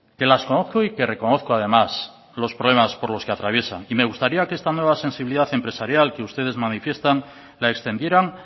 que las conozco y que reconozco además por los problemas por los que traviesan y me gustaría que esta nueva sensibilidad empresarial que ustedes manifiestan la extendieran